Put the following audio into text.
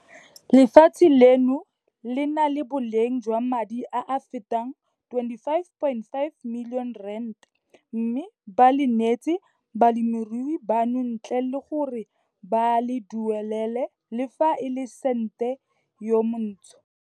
Lefatshe leno le na le boleng jwa madi a a fetang R25.5 milione mme ba le neetse balemirui bano ntle le gore ba le duelele le fa e le sente yo montsho.